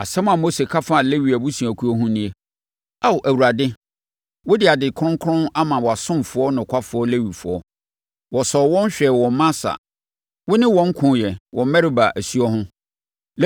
Asɛm a Mose ka faa Lewi abusuakuo ho nie: “Ao Awurade, wode ade kronkron ama wʼasomfoɔ nokwafoɔ Lewifoɔ. Wosɔɔ wɔn hwɛɛ wɔ Masa wone wɔn koeɛ wɔ Meriba asuo ho.